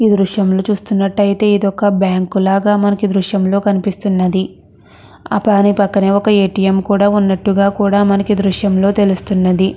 ఈ దృశ్యాన్ని చూసినట్లయితే ఇది ఒక బ్యాంకు లాగా మనకి దుర్షం లో కనిపిస్తునది. పక్కన ఒక ఎటిఎం వున్నటు కూడా మనకి ఈ దృశ్యం లో తెలుస్తున్నది.